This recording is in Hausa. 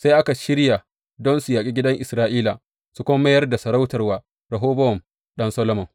Sai aka shirya don su yaƙi gidan Isra’ila, su kuma mayar da masarautar wa Rehobowam ɗan Solomon.